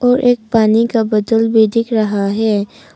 और एक पानी का बोतल भी दिख रहा है।